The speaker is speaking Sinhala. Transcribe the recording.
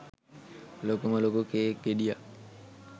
ලොකුම ලොකු කේක් ගෙඩියක්.